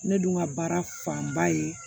Ne dun ka baara fanba ye